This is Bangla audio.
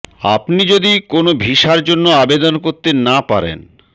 আপনি যদি কোন ভিসার জন্য আবেদন করতে না পারেন